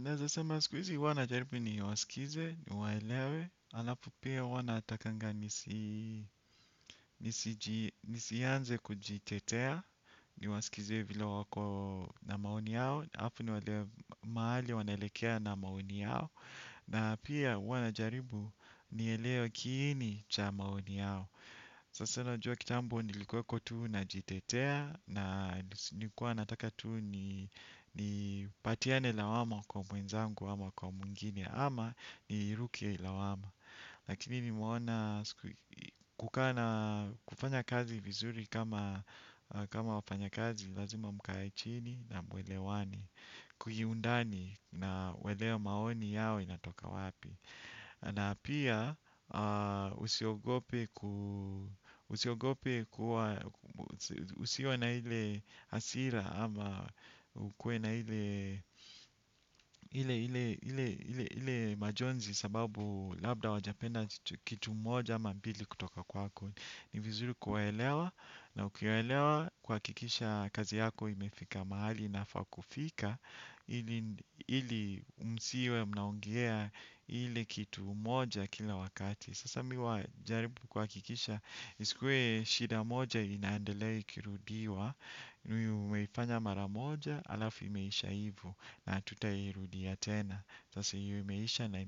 Naeza sema sikuizi huwa najaribu ni wasikize, ni waelewe, alafu pia huwa natakanga nisianze kujitetea, ni wasikize vile wako na maoni yao, alafu ni walewe mahali wanaelekea na maoni yao, na pia huwa najaribu ni elewe kiini cha maoni yao. Sasa najua kitambo nilikuwa tu na jitetea na nilikua nataka tu ni patiane lawama kwa mwenzangu ama kwa wengine ama niruke lawama. Lakini nimeona kufanya kazi vizuri kama wafanya kazi lazima mkae chini na muelewane. Kwenye undani na kuelewa maoni yao inatoka wapi. Na pia usiogope kuwa usiwe na ile hasira ama ukuwe na ile majonzi sababu labda hawajapenda kitu moja ama mbili kutoka kwako. Ni vizuri kuwaelewa na ukiwaelewa kukikisha kazi yako imefika mahali inafaa kufika. Ili msiwe mnaongelea ile kitu moja kila wakati. Sasa mi huwa najaribu kuhakikisha isikuwe shida moja inaendelea ikirudiwa. Na umeifanya mara moja alafu imeisha hivo na hatutairudia tena. Sasa hio imeisha na